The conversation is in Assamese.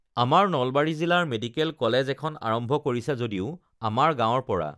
আমাৰ নলবাৰী জিলাৰ মেডিকেল কলেজ এখন আৰম্ভ কৰিছে যদিও আমাৰ গাঁৱৰ পৰা